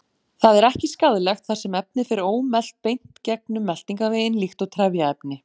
Það er ekki skaðlegt þar sem efnið fer ómelt beint gegnum meltingarveginn líkt og trefjaefni.